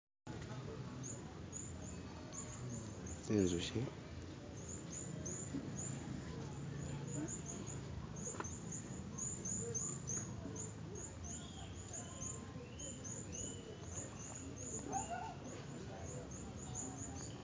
Zi'nzuki